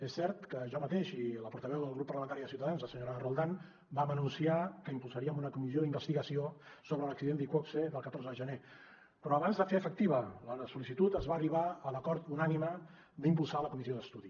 és cert que jo mateix i la portaveu del grup parlamentari de ciutadans la senyora roldán vam anunciar que impulsaríem una comissió d’investigació sobre l’accident d’iqoxe del catorze de gener però abans de fer efectiva la sol·licitud es va arribar a l’acord unànime d’impulsar la comissió d’estudi